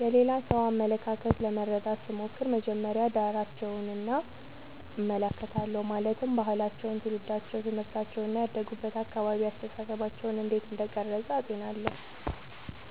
የሌላ ሰው አመለካከት ለመረዳት ስሞክር መጀመሪያ ዳራቸውን እመለከታለሁ ማለትም ባህላቸው ትውልዳቸው ትምህርታቸው እና ያደጉበት አካባቢ አስተሳሰባቸውን እንዴት እንደቀረጸ አጤናለሁ